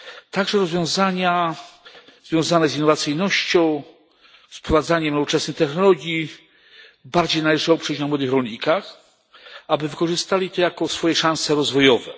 Także rozwiązania związane z innowacyjnością, wprowadzaniem nowoczesnych technologii bardziej należy oprzeć na młodych rolnikach, aby wykorzystali to jako swoje szanse rozwojowe.